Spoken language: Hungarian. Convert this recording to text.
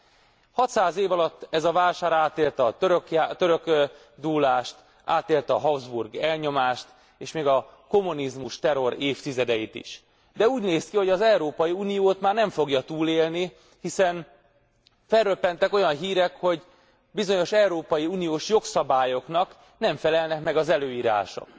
600 év alatt ez a vásár átélte a török dúlást, átélte a Habsburg elnyomást, és még a kommunizmus terrorévtizedeit is, de úgy néz ki, hogy az Európai Uniót már nem fogja túlélni, hiszen felröppentek olyan hírek, hogy bizonyos európai uniós jogszabályoknak nem felelnek meg az előírások.